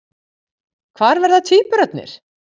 Hvar verða tvíburarnir?